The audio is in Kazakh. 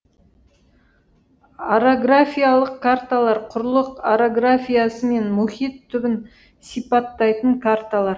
орографиялық карталар құрлық орографиясы мен мұхит түбін сипаттайтын карталар